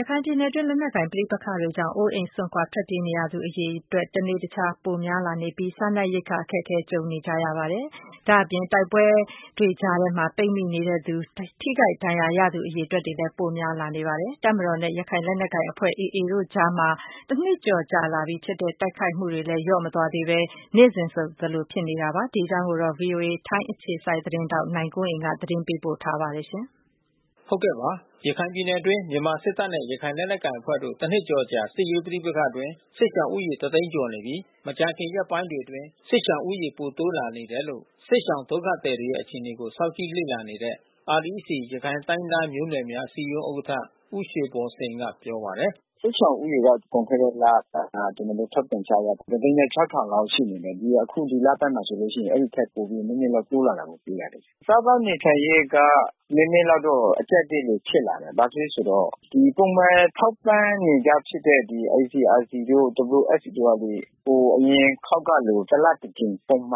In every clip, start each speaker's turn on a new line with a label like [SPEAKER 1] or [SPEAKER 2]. [SPEAKER 1] ရခိုင်ပြည်နယ်တွင်း လက်နက်ကိုင် ပဋိက္ခတွေကြောင့် အိုးအိမ်စွန့် ထွက်ပြေးနေရသူအရေအတွက် တနေ့တခြား ပိုများလာနေပြီး စားနပ်ရိက္ခာအခက်အခဲ ကြုံနေကြရပါတယ်။ ဒါ့အပြင် တိုက်ပွဲတွေကြားထဲမှာ ပိတ်မိနေသူ၊ ထိခိုက်ဒဏ်ရာရသူူ အရေအတွက်လည်း ပိုများလာပါတယ်။ တပ်မတော်နဲ့ ရခိုင်လက်နက်ကိုင်အဖွဲ့ AA တို့ကြားမှာ တနှစ်ကျော် ကြာလာပြီဖြစ်တဲ့ တိုက်ခိုက်မှုတွေကလည်း လျော့မသွားသေးဘဲ နေ့စဉ်လို ဆက်ဖြစ်နေဆဲပါ။ ဒီအကြောင်း ဗွီအိုအေ ထိုင်းအခြေစိုက်သတင်းထောက် နိုင်ကွန်းအိမ်က သတင်းပေးပို့ထားပါတယ်။
[SPEAKER 2] ရခိုင်ပြည်နယ်အတွင်း မြန်မာစစ်တပ်နဲ့ ရခိုင်လက်ကိုင်အဖွဲ့တို့ တနှစ်ကျော်အကြာ စစ်ရေးပဋိပက္ခအတွင်း စစ်ရှောင်ဦးရေက တသိန်းကျော်နေပြီး မကြာခင် ရက်ပိုင်းတွေ အတွင်း စစ်ရှောင်ဦးရေ ပိုတိုးလာနေတယ်လို့ စစ်ရှောင်ဒုက္ခသည်တွေရဲ့အခြေအနေကို စောင့်ကြည့်လေ့လာနေတဲ့ REC ရခိုင်တိုင်းရင်းသား မျိုးနွယ်များ အစည်းအရုံး ဥက္ကဌ ဦးရွှေဘော်စိန်က ပြောပါတယ
[SPEAKER 1] ်။ “စစ်ရှောင်ဦးရေက လွန်ခဲ့တဲ့လ ကျနော်တို့ ထုတ်ပြန်ချက်အရ ၁၀၆,၀၀၀ လောက် ရှိနေတယ်။ ဒီအခု ဒီလဘက်မှာဆိုရင် အဲဒီထက် နည်းနည်းလောက် တိုးလာတာတွေ့ရတယ်။ စားသောက်ေနေထိုင်ရေးက နည်းနည်းလောက်တော့ အကျပ်အတည်းတွေ ဖြစ်လာတယ်။ ဘာဖြစ်လဲဆိုတော့ ပုံမှန်ထောက်ပံ့နေကြဖြစ်တဲ့ ICRC တို့ WFP တို့က ဒီ အရင် အခေါက်ကလို တလတကြိမ် ထောက်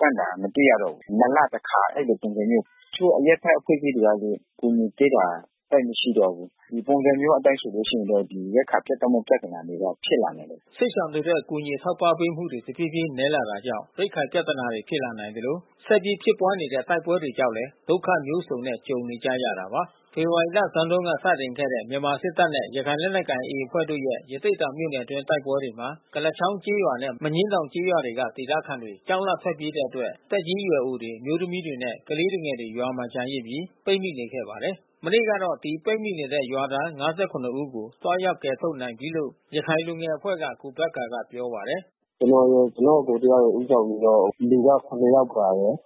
[SPEAKER 1] ပံ့တာမတွေ့ရတော့ဘူး။ နှစ်လတခါ ပုံစံမျိုး။ တချို့ အရပ်ဘက် အဖွဲ့အစည်းတွေကလည်း အကူညီပေးတာ သိပ်မရှိတော့ဘုူး။ ဒီပုံစံမျိုးအတိုင်း ဆိုလို့ရှိရင်တော့ ရိက္ခာပြတ်တောက်မဲ့ ပြဿနာတွေက ဖြစ်လာမယ်။
[SPEAKER 2] ” စစ်ရှောင်တွေအတွက် အကူအညီ အထောက်အပံ့ပေးမှုတွေ တဖြေးဖြေးနည်းလာနေတာကြောင့် ရိက္ခာ ပြဿနာ ဖြစ်လာနိုင်သလို ဆက်ပြီး ဖြစ်ပွါးနေတဲ့ တိုက်ပွဲ တွေကြောင့်လည်း ဒုက္ခ မျိုးစုံနဲ့ ကြုံနေကြရတာပါ။ ဖေဖေါ်ဝါရီလဆန်းတုန်း စတင်ခဲ့တဲ့ မြန်မာစစ်တပ်နဲ့ ရခိုင်လက်နက်ကိုင် AA အဖွဲ့တို့ရဲ့ ရသေ့တောင် မြို့နယ်တွင်းက တိုက်ပွဲတွေမှာ ကုလားချောင်းကျေးရွာနဲ့ မညင်းတောင်ကျေးရွာတွေက ဒေသခံတွေ ကြောက်လန့်ထွက်ပြေးတဲ့အတွက် သက်ကြီးရွယ်အိုတွေ၊ အမျိုးသမီးတွေနဲ့ ကလေးငယ် တွေ ရွာထဲမှာ ကျန်ရစ်ပြီး ပိတ်မိနေခဲ့ပါတယ်။ မနေ့ကတော့ ဒီ ပိတ်မိနေတဲ့ ရွာသား ၅၇ ဦး ကို သွားရောက်ကယ်ထုတ် နိုင်ပြီလို့ ရခိုင်လူငယ် အဖွဲ့က ကိုဘက္ကာက ပြောပါတယ်
[SPEAKER 3] ။ “ကျနော်ရယ် ကျနော့်အကို တယောက်ရယ် ဦးဆောင်ပြီးတော့ လူက၇ ယောက်ပါတယ်။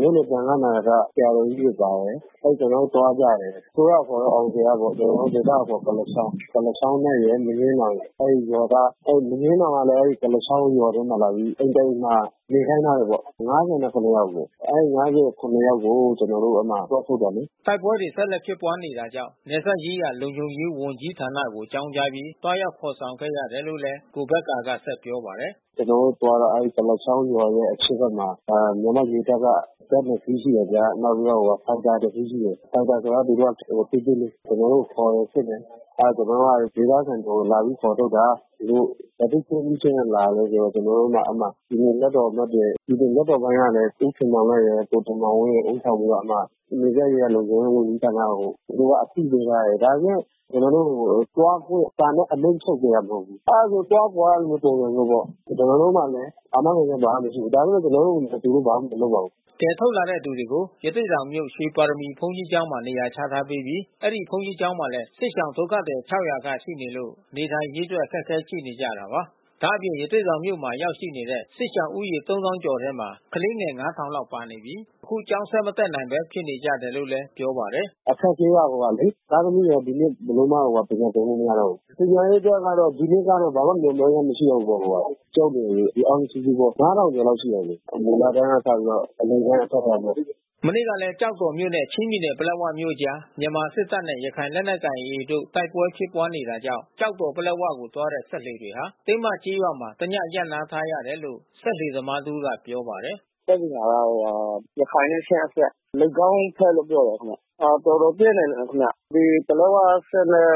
[SPEAKER 3] မြို့နယ်သံဃာ့နာယက ဆရာတော်ကြီးတွေ ပါတယ်။ ကျနော်တို့သွားကြတယ်။ အစိုးရအခေါ်တော့ အောင်ဇေယျပေါ့။ ဒေသအခေါ်ကုလား ချောင်း။ ကုလားချောင်းရယ်၊ မညှင်းတောင်ရယ်။ အဲဒီရွာက။ အဲဒီမညှင်းတောင်ကလည်း ကုလားချောင်းရွာထဲမှာ လာပြီး အိမ်တအိမ်မှာ နေခိုင်းထားတယ်ပေါ့။ ၅၇ ယောက်အကို။ အဲဒီ ၅၇ ယောက်ကို ကျနော်တို့အဲဒီမှာ သွားထုတ်တယ်လေ။
[SPEAKER 2] " တိုက်ပွဲတွေ ဆက်လက် ဖြစ်ပွားနေတာကြောင့် နယ်စပ်ရေးရာ လုံခြုံရေး ဝန်ကြီးဌာနကို အကြောင်းကြားပြီး သွားရောက် ခေါ်ဆောင်ခဲ့ရတယ်လို့ လည်း ကိုဘက္ကာကဆက်ပြောပါတယ်။
[SPEAKER 3] “ကျနော်တို့သွားတော့ အဲဒီကုလားချောင်းရွာရဲ့အရှေ့ဖက်မှာ မြန်မာရေတပ်က ဇက် ၂ စီး ရှိတယ်ဗျာ။ နောက်ပြီး တော့ ဖိုက်တာတစီးရှိတယ်။ ဖိုက်တာဆိုတာကသူတို့ စစ်ဆေးလေ့ ရှိတယ်။ ကျနော်တို့ကိုခေါ်တယ်။ စစ်တယ်။ ကျနော်တို့က ဒေသခံတွေကို လာပြီးခေါ်ထုတ် တာ။ သူတို့ဘယ်သူ့ခွင့်ပြုချက်နဲ့လာသလည်းဆိုတော့ ကျနော်တို့ က အဲဒီမှာ ပြည်နယ် လွှတ်တော်အမတ်တွေ ဒီလိုလွှတ်တော်ပိုင်းကလည်း ဦးခင်မောင်လတ်ရယ် ကိုတင်မောင်ဝင်း ရယ် ဦးဆောင်ပြီးတော့ အဲဒီမှာ နယ်စပ်ရေးရာ လုံခြုံရေး ဝန်ကြီးဌာနကို အသိပေးထားတယ်။ ဒါပေမဲ့ ကျနော်တို့ကို သွားခွင့်စာနဲ့ အမိန့်ထုတ်ပေးထားတာ မဟုတ်ဘူး။ အဲဒီလိုဆိုသွားကွာဆိုတဲ့ပုံစံမျိုးပေါ့။ ကျနော်တို့မှာလည်း အာမခံချက် ဘာမှ မရှိဘူး။ ဒါပေမဲ့ကျနော်တို့ကို သူတို့ဘာမှမလုပ်ပါဘူး။” ကယ်ထုတ်လာတဲ့သူတွေကို
[SPEAKER 2] ရသေ့တောင်မြို့ ရွှေပါရမီဘုန်းကြီးကျောင်းမှာ နေရာချထားပေးပြီး အဲဒီဘုန်းကြီး ကျောင်းမှာလည်း စစ်ဘေးရှောင်ဒုက္ခသည် ၆၀၀ ခန့်ရှိနေလို့ နေထိုင်ရေး အတွက် အခက်ခဲ ရှိနေကြတာပါ။ ဒါ့အပြင် ရသေ့တောင်မြို့မှာ ရောက်နေတဲ့ စစ်ရှောင်ဦးရေ၃၀,၀၀၀ ကျော် ထဲမှာ ကလေးငယ် ၅,၀၀၀ လောက်ပါနေပြီး သူတို့တွေဟာ အခု ကျောင်းဆက် မတက်နိုင်ပဲ ဖြစ်နေကြတယ် လို့လည်း ပြောပါတယ်။
[SPEAKER 3] “အခက်အခဲကတော့ သားသမီးတွေက ဒီနှစ်ဘယ်လိုမှ ပညာသင်လို့မရတော့ဘူး။ ပညာရေးအတွက်ကတော့ ဒီနှစ်က တော့ ဘယ်လိုမှမျှော်မှန်းချက် မရှိတော့ဘူးပေါ့။ ကျောင်းနေအရွယ်အားလုံး စုစုပေါင်း ၅၀၀၀ ကျော်လောက်ရှိမယ်။ မူလတန်းက စပြီးတော့ အလယ်တန်း အထက်တန်းပေါ့။”
[SPEAKER 2] မနေ့ကလည်း ကျောက်တော်မြို့နဲ့ ချင်းပြည်နယ်ပလက်ဝမြို့အကြား မြန်မာ့တပ်မတော်နဲ့ ရခိုင်လက်နက်ကိုင် AA တို့ တိုက်ပွဲဖြစ်ပွါးနေတာကြောင့် ကျောက်တော်- ပလက်ဝကိုသွားတဲ့ စက်လှေတွေဟာ တင်းမကျေးရွာမှာ တည ရပ်နား ထားရတယ်လို့ စက်လှေသမား တဦးက ပြောပါတယ်
[SPEAKER 3] ။ “ပစ်နေတာကတော့ ရခိုင်နဲ့ချင်းအစပ်။ လိပ်ခေါင်းဘက်လို့ပြောတယ်ခင်ဗျ။ တော်တော်ပြင်းတယ် ခင်ဗျ။ ပလက်ဝစက် နဲ့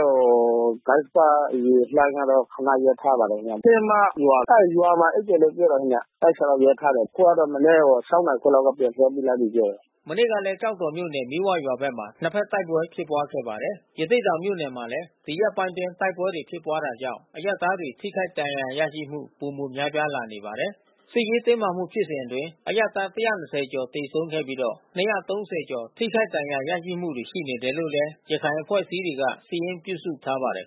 [SPEAKER 3] ကစ္ဆပရေလှိုင်းကတော့ ခနရပ်ထားပါတယ် ခင်ဗျ။ တင်းမရွာ။ အဲဒီရွာမှာ အိပ်တယ်လို့ပြောပါတယ်ခင်ဗျ။ အဲဒီအထဲ မှာ ရပ်ထားတယ်။ အခုကတော့ မနက် ၆ နာရီခွဲကတော့ ပြန်လွှတ်ပေးလိုက်ပြီးပြောတယ်။
[SPEAKER 2] ” မနေ့ကလည်း ကျောက်တော်မြို့နယ် မီးဝရွာဖက်မှာ နှစ်ဘက်တိုက်ပွဲ ဖြစ်ပွားခဲ့ပါတယ်။ ရသေ့တောင်မြို့နယ်မှာလည်း ဒီရက်ပိုင်းအတွင်း တိုက်ပွဲတွေ ဖြစ်ပွားတာကြောင့် အရပ်သားတွေ ထိခိုက်ဒဏ်ရာ ရရှိမှု ပိုမိုများပြားလာနေပါတယ်။ စစ်ရေးတင်းမာမှုဖြစ်စဉ်အတွင်း အရပ်သား ၁၂၀ ကျော် သေဆုံးခဲ့ပြီးတော့ ၂၃
[SPEAKER 1] ၀ ကျော် ထိခိုက်ဒဏ်ရာ ရရှိမှုတွေ ရှိနေတယ်လို့လည်း ရခိုင်အဖွဲ့အစည်းတွေက စာရင်းပြုစုထားပါတယ်